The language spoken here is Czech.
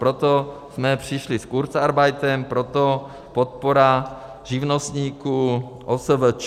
Proto jsme přišli s kurzarbeitem, proto podpora živnostníků, OSVČ.